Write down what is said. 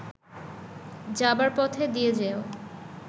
যাবার পথে দিয়ে যেও